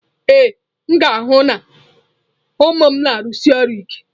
Ee, m ga-ahụ na ụmụ m na-arụsi ọrụ ike.